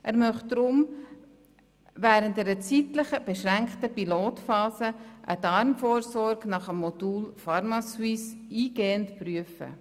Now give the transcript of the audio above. Er möchte darum während einer zeitlich beschränkten Pilotphase eine Darmkrebsvorsorge nach dem Modell pharmaSuisse eingehend prüfen.